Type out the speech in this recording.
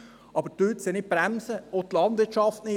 Aber bremsen Sie sie nicht, auch die Landwirtschaft nicht!